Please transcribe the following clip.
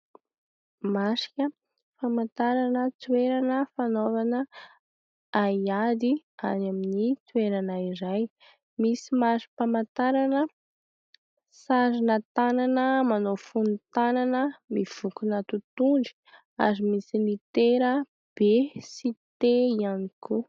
Marika famantarana toerana fanaovana haiady any amin'ny toerana iray. Misy mari-pamantarana sarina tanana manao fonon-tanana mivonkona totohondry ary misy litera "b" sy "t" ihany koa.